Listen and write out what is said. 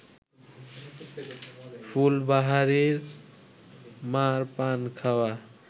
ফুলবাহারির মা’র পান খাওয়া